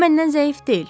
O məndən zəif deyil.